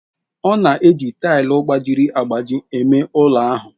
Ọ na-eji tile gbajiri agbaji eme ụlọ ahụ.